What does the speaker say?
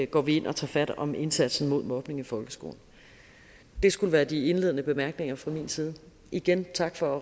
går ind og tager fat om indsatsen mod mobning i folkeskolen det skulle være de indledende bemærkninger fra min side igen tak for